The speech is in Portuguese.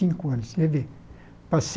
anos teve passei